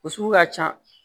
O sugu ka ca